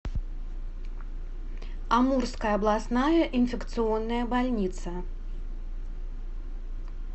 амурская областная инфекционная больница